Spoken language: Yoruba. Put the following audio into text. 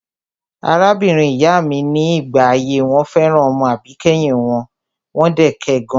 Arábìnrin ìyá mi ní ìgbà ayé wọn fẹ́ràn ọmọ àbíkẹ́yìn wọn, wọ́n dẹ̀ kẹ gan.